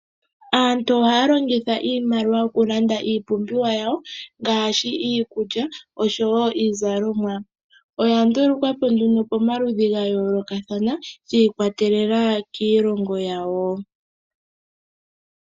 Aantu ohaya longitha iimaliwa oku landa iipumbiwa yawo ngashi iikulya osho woo iizalomwa, oya ndulukwapo nduno pamaludhi gayoolokathana shii kwatelela kiilongo yawo.